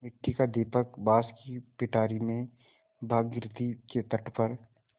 मिट्टी का दीपक बाँस की पिटारी में भागीरथी के तट पर